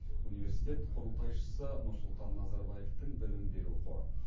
университет құрылтайшысы нұрсұлтан назарбаевтың білім беру қоры